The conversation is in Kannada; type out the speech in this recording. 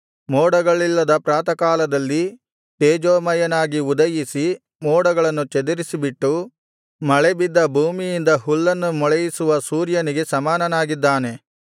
ಮೋಡಗಳಿಲ್ಲದ ಪ್ರಾತಃಕಾಲದಲ್ಲಿ ತೇಜೋಮಯನಾಗಿ ಉದಯಿಸಿ ಮೋಡಗಳನ್ನು ಚದುರಿಸಿಬಿಟ್ಟು ಮಳೆಬಿದ್ದ ಭೂಮಿಯಿಂದ ಹುಲ್ಲನ್ನು ಮೊಳೆಯಿಸುವ ಸೂರ್ಯನಿಗೆ ಸಮಾನನಾಗಿದ್ದಾನೆ